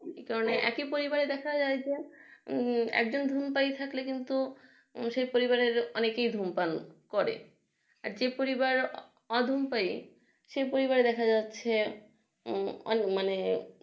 এ কারণে একই পরিবারের দেখা যায় একজন ধূমপাই থাকলে সেই পরিবারে অনেকে ধূমপান করে যে পরিবার অধম পাই সেই পরিমাণে দেখা যাচ্ছে মানে